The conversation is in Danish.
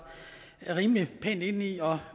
rimelig pænt inde i og